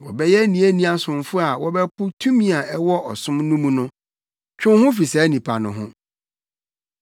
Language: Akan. Wɔbɛyɛ aniani asomfo a wɔbɛpo tumi a ɛwɔ ɔsom no mu no. Twe wo ho fi saa nnipa no ho.